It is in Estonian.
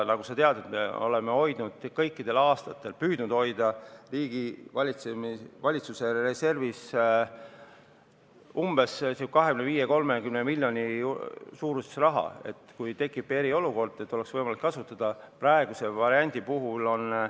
Nagu sa tead, me oleme kõikidel aastatel püüdnud hoida valitsuse reservis 25–30 miljonit, mida oleks võimalik kasutada siis, kui tekib eriolukord.